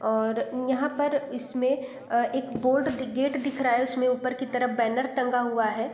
और यहां पर इसमें अ एक बोर्ड गेट दिख रहा है उसमें ऊपर की तरफ बैनर टंगा हुआ है।